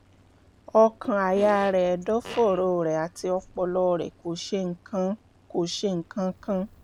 ọkàn-àyà rẹ̀ ẹ̀dọ̀fóró rẹ̀ àti ọpọlọ rẹ̀ kò ṣe nǹkan kò ṣe nǹkan kan